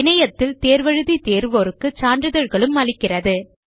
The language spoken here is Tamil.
இணையத்தில் தேர்வு எழுதி தேர்வோருக்கு சான்றிதழ்களும் அளிக்கிறது